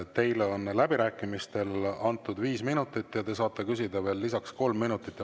Teile on läbirääkimistel antud viis minutit ja te saate küsida veel lisaks kolm minutit.